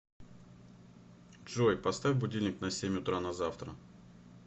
джой поставь будильник на семь утра на завтра